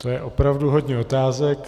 To je opravdu hodně otázek.